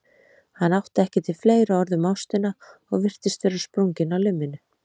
Hann átti ekki til fleiri orð um ástina og virtist vera sprunginn á limminu.